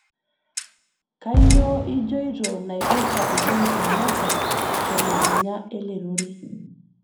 kainyio ijoito naipirta uhuru kenyataa telukunya ele rorei